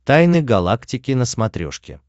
тайны галактики на смотрешке